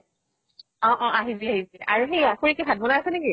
অ অ আহিবি আহিবি । আৰু সেইয়া খুড়ী কি ভাত বনাই আছে নেকি?